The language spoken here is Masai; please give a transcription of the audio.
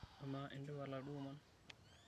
Amaa, indipa laduo omon?